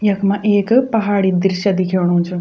यख्मा एक पहाड़ी दृश्य दिखेणु च।